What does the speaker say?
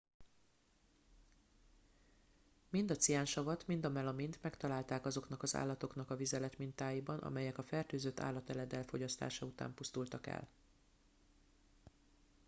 mind a ciánsavat mind a melamint megtalálták azoknak az állatoknak a vizeletmintáiban amelyek a fertőzött állateledel fogyasztása után pusztultak el